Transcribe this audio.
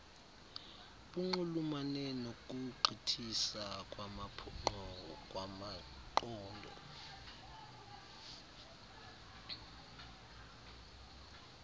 bunxulumane nokugqithisa kwamaqondo